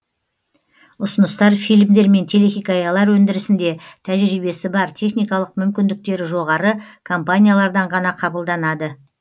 ұсыныстар фильмдер мен телехикаялар өндірісінде тәжірибесі бар техникалық мүмкіндіктері жоғары компаниялардан ғана қабылданады